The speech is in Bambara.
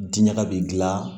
Diɲaga bi gilan